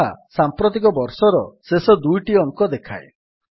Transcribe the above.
ଏହା ସାମ୍ପ୍ରତିକ ବର୍ଷର ଶେଷ ଦୁଇଟି ଅଙ୍କ ଦେଖାଏ